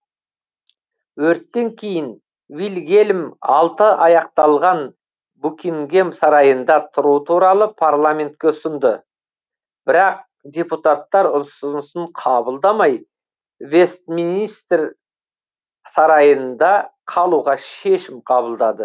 өрттен кейін вильгельм алты аяқталған букингем сарайында тұру туралы парламентке ұсынды бірақ депутаттар үсынысын қабылдамай вестминистер сарайында қалуға шешім қабылдады